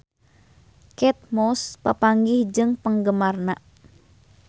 Kate Moss papanggih jeung penggemarna